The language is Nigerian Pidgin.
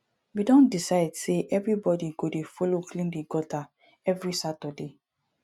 we don decide sey everybodi go dey folo clean di gutter every saturday